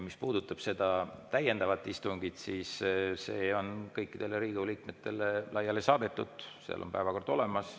Mis puudutab seda täiendavat istungit, siis see on kõikidele Riigikogu liikmetele laiali saadetud ja seal on päevakord olemas.